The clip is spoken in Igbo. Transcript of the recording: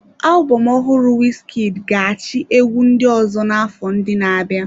Alubom ohụrụ Wizkid ga-achị egwu ndị ọzọ n'afọ ndị na-abịa.